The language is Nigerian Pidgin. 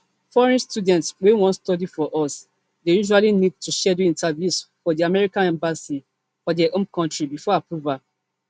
foreign students wey wan study for us dey usually need to schedule interviews for di american embassy for dia home country before approval